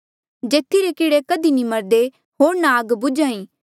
जेथी रे कीड़े कधी नी मरदे होर ना आग बुझ्हा ई